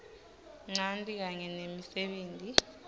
ncanti kanye nemisebenti